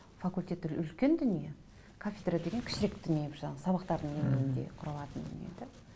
факультеттер үлкен дүние кафедра деген кішірек дүние бір жағынан сабақтардың деңгейінде құралатын дүние де